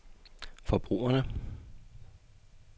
forbrugerne